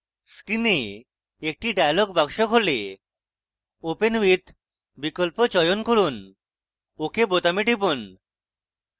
screen একটি dialog box খোলে open with বিকল্প চয়ন করুন ok বোতামে টিপুন